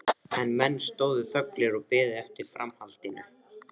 En menn stóðu þöglir og biðu eftir framhaldinu.